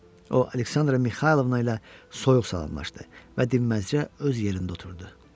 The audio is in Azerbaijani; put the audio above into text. O Aleksandra Mixaylovna ilə soyuq salamlaşdı və dinməzcə öz yerində oturdu.